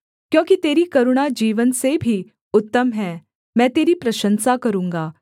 क्योंकि तेरी करुणा जीवन से भी उत्तम है मैं तेरी प्रशंसा करूँगा